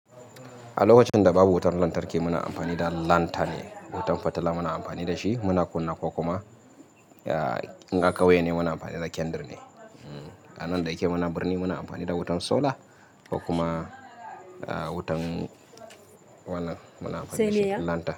A lokacin da babu wutan lantarki muna amfani da lanta ne, wutan fitila muna amfani da shi muna kunna ko kuma in a kauye ne muna amfani da kyandir ne. A nan da yake muna birni muna amfani da wutan solar ko kuma wutan wannan muna amfani da shi lanta.